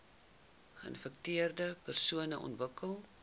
geinfekteerde persone ontwikkel